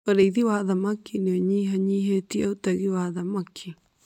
Ũrĩithi wa thamaki nĩ ũnyihanyihĩtie ũtegi wa thamaki.